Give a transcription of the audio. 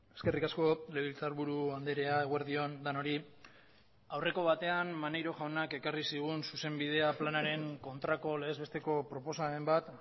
eskerrik asko legebiltzar buru andrea eguerdi on denoi aurreko batean maneiro jaunak ekarri zigun zuzen bidean planaren kontrako legez besteko proposamen bat